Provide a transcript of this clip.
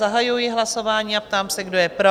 Zahajuji hlasování a ptám se, kdo je pro?